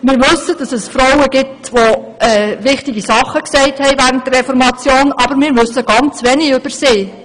Wir wissen, dass es Frauen gab, die während der Reformation Wichtiges gesagt haben, aber wir wissen vielfach ganz wenig über sie.